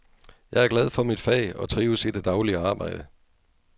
Jeg er glad for mit fag og trives i det daglige arbejde.